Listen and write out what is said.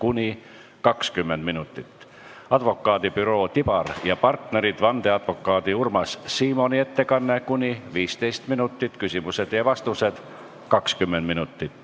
Teiseks on advokaadibüroo Tibar & Partnerid vandeadvokaadi Urmas Simoni ettekanne ning küsimused ja vastused .